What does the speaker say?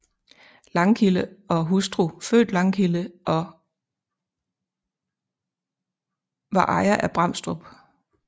Langkilde og hustru født Langkilde og var ejer af Bramstrup